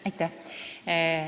Aitäh!